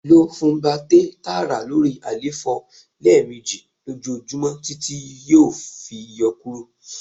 lo Funbact-A taara lori àléfọ lẹmeji lojoojumọ titi yoo fi yọ kuro